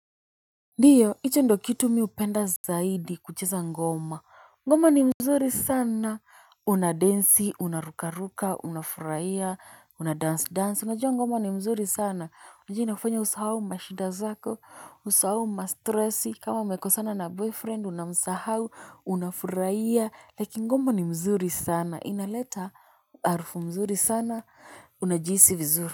Ndiyo, hicho ndo kitu mi hupenda zaidi kucheza ngoma, ngoma ni mzuri sana, una densi, unarukaruka, unafurahia, unadancedance, unajua ngoma ni mzuri sana, unajua inafanya usahau mashida zako, usahau mastresi, kama mmekosana na boyfriend, unamsahau, unafurahia, like ngoma ni mzuri sana, inaleta harufu mzuri sana, unajihisi vizuri.